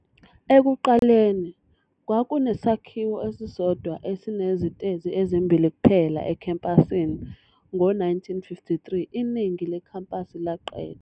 Ekuqaleni kwakunesakhiwo esisodwa esinezitezi ezimbili kuphela ekhempasini, ngo-1953 iningi lekhampasi laqedwa.